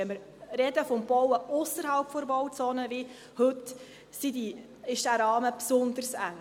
Wenn wir wie heute vom Bauen ausserhalb der Bauzone reden, ist dieser Rahmen besonders eng.